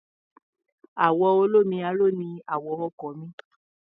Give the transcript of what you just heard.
Àwọ̀ olómi aró ni àwọ̀ ọkọ̀ mi.